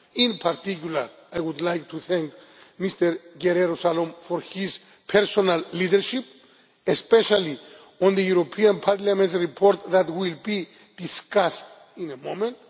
In particular, I would like to thank Mr Guerrero Salom for his personal leadership, especially on the European Parliament's report that will be discussed in a moment.